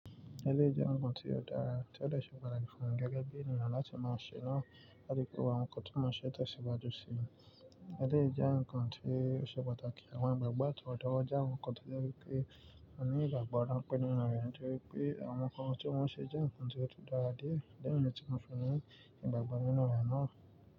Ẹlẹ́ jẹ́ ǹkan tí ó dára tí ó lè ṣe pàtàkì fún wọn gẹ́gẹ́ bí ènìyàn láti máa ṣe náà. Bádíì kó àwọn ǹkan tí wọ́n ń ṣe tẹ̀síwájú sí i. Ẹlẹ́ jẹ́ ǹkan tí ó ṣe pàtàkì, àwọn ìgbàgbọ́ àtọwọ́dá jẹ́ àwọn ǹkan tí ó jẹ́ wípé a ní ìgbàgbọ́ rán pé nínú ènìyàn jẹ́ wípé àwọn ǹkan tí wọ́n ń ṣe jẹ́ ǹkan tí ó tó dára dé, dáhùn ni tí wọ́n fẹ́ rí, ìgbàgbọ́ nínú ènìyàn náà.